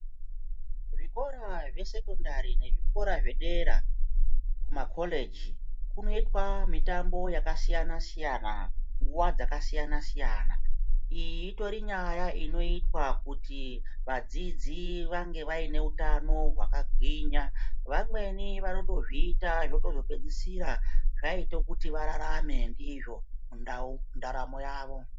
Zvikora zvesekondari nezvikora zvedera, kumakorichi kunoitwa mitambo yakasiyana-siyana, nguwa dzakasiyana-siyana. Iyi itori nyaya inoitwa kuti vadzidzi vange vaine utano hwakagwinya vamweni vanotozviita zvotozopedzisira zvaite kuti vararame ndizvo mundaramo mavo.